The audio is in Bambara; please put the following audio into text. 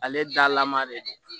Ale dalama de don